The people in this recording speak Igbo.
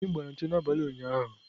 Anyị gbara ncho n'abalị ụnyaahụ.